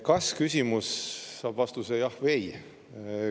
Kas-küsimus saab vastuse "jah" või "ei".